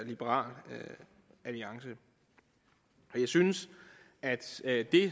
liberal alliance jeg synes at det